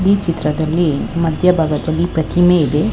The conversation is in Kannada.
ಈ ಚಿತ್ರದಲ್ಲಿ ಮಧ್ಯಭಾಗದಲ್ಲಿ ಒಂದು ಪ್ರತಿಮೆ ಇದೆ.